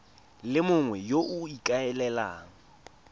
le mongwe yo o ikaelelang